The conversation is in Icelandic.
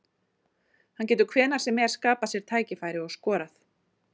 Hann getur hvenær sem er skapað sér tækifæri og skorað.